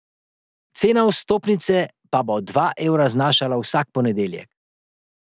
Cena vstopnice pa bo dva evra znašala vsak ponedeljek.